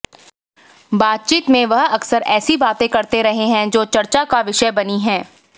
बातचीत में वह अक्सर ऐसी बातें करते रहे हैं जो चर्चा का विषय बनी है